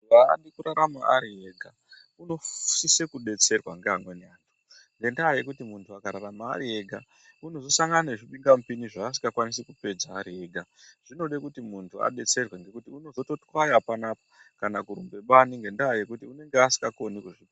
Munthu aadi kurarama ari ega, unosise kudetserwa ngeamweni anthu, ngendaa yekuti munthu akararama ari ega, unozosangana nezvibingamupinyi zvaasikakwanisi kupedza ari ega. Zvinoda kuti munthu adetserwe ngekuti ungatozotwaya panapa kana kurumba bani, ngendaa yekuti unenge asikakoni kuzvipedza.